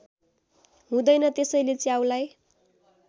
हुँदैन त्यसैले च्याउलाई